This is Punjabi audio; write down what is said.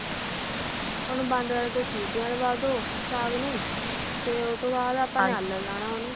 ਉਹਨੂੰ ਬੰਦ ਕਰਕੇ ਸੀਟੀਆਂ ਲਵਾਦੋ ਸਾਗ ਨੂੰ ਤੇ ਉਹ ਤੋਂ ਬਾਅਦ ਆਪਾ ਨੇ ਆਲਨ ਲਾਣਾ ਉਹਨੂੰ